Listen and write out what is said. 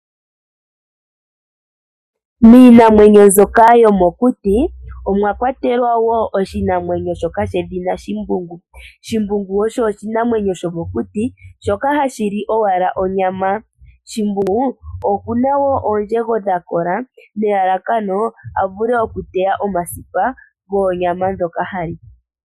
Miinamwenyo mbyoka yomokuti omwa kwatelwa woo oshinamwenyo shoka shedhina shimbungu, shimbungu osho oshinamwenyo shomokuti shoka hashili owala onyama, shimbungu okuna woo oondjego dhakola nelalakano avule ateye omasipa goonyama ndhoka hali.